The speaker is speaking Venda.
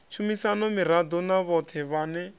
tshumisano miraḓo na vhoṱhe vhane